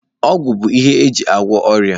Ọgwụ bụ ihe eji agwọ ọrịa.